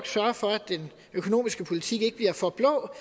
sørger for at den økonomiske politik ikke bliver for blå